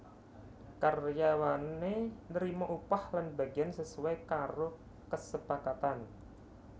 Karyawane nrima upah lan bagiyan sesuai karo kesepakatan